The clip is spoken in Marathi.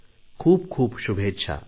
खूप खूप शुभेच्छा